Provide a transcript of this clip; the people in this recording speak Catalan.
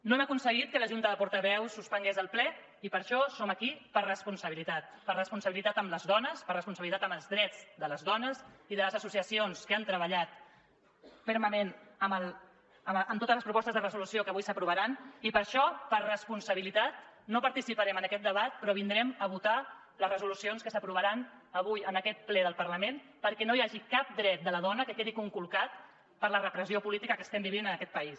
no hem aconseguit que la junta de portaveus suspengués el ple i per això som aquí per responsabilitat per responsabilitat amb les dones per responsabilitat amb els drets de les dones i de les associacions que han treballat fermament amb totes les propostes de resolució que avui s’aprovaran i per això per responsabilitat no participarem en aquest debat però vindrem a votar les resolucions que s’aprovaran avui en aquest ple del parlament perquè no hi hagi cap dret de la dona que quedi conculcat per la repressió política que estem vivint en aquest país